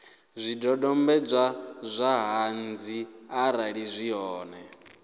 zwidodombedzwa zwa ṱhanzi arali zwi hone